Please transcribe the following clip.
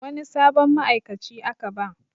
Wani sabon ma'aikaci aka ba